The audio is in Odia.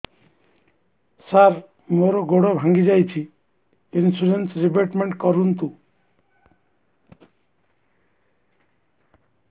ସାର ମୋର ଗୋଡ ଭାଙ୍ଗି ଯାଇଛି ଇନ୍ସୁରେନ୍ସ ରିବେଟମେଣ୍ଟ କରୁନ୍ତୁ